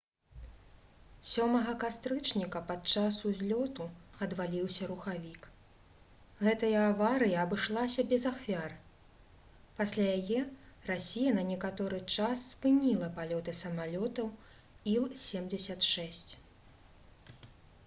7 кастрычніка падчас узлёту адваліўся рухавік гэтая аварыя абышлася без ахвяр пасля яе расія на некаторы час спыніла палёты самалётаў іл-76